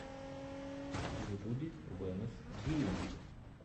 в ютубе вэнос гейминг